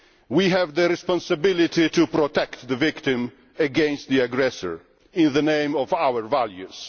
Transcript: We have the responsibility to protect the victim against the aggressor in the name of our values.